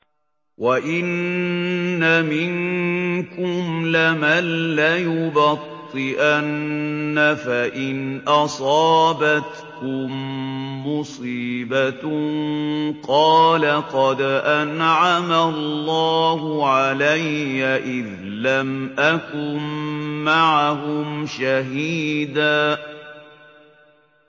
وَإِنَّ مِنكُمْ لَمَن لَّيُبَطِّئَنَّ فَإِنْ أَصَابَتْكُم مُّصِيبَةٌ قَالَ قَدْ أَنْعَمَ اللَّهُ عَلَيَّ إِذْ لَمْ أَكُن مَّعَهُمْ شَهِيدًا